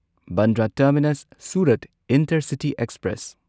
Bandra terminus Surat intercity express